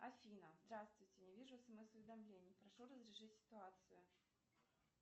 афина здравствуйте не вижу смс уведомлений прошу разрешить ситуацию